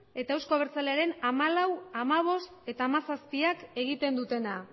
eta euzko abertzalearen hamalau hamabost eta hamazazpiak egiten dutena